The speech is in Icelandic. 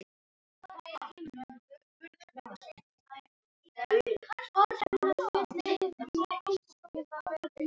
Þetta verður síðasta árið sem ég færi frá.